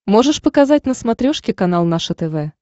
можешь показать на смотрешке канал наше тв